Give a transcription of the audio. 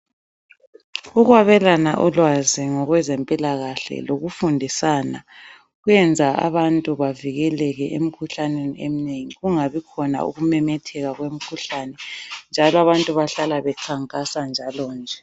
Ukwabelana ulwazi ngokwezempilakahle lokufundisana kwenza abantu bavikeleke emikhuhlaneni eminengi kungabikhona ukumemetheka kwemikhuhlane njalo abantu bahlala bekhankasa njalo nje.